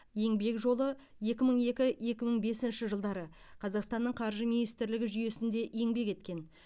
еңбек жолы екі мың екі екі мың бесінші жылдары қазақстанның қаржы министрлігі жүйесінде еңбек еткен